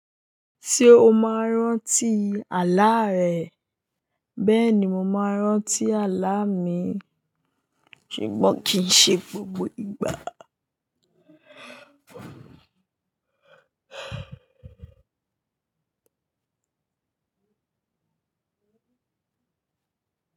Ṣé o máa ń rántí àlá rẹ? Bẹ́ẹ̀ni, mo máa ń rántí àlá mi, ṣùgbọ́n kì í ṣe gbogbo ìgbà.